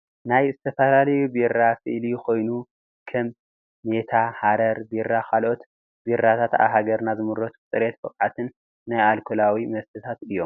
ናይ ዝተፈላለዩ ቢራ ስእሊ ኮይኑ ከም ሜታ፣ ሓረር ቢራ ካልኦትን ቢራታት ኣብ ሃገርና ዝምረቱ ብፅሬትን ብቅዓት ናይ ኣልኮላዊ መስተታት እዮም ።